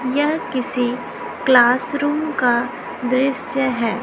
यह किसी क्लासरूम का दृश्य है।